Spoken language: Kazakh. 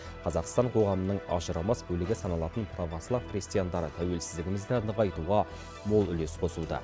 қазақстан қоғамының ажырамас бөлігі саналатын православ христиандары тәуелсіздігімізді нығайтуға мол үлес қосуда